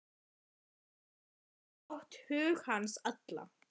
Vinnan hafði átt hug hans allan.